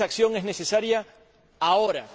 Esa acción es necesaria ahora.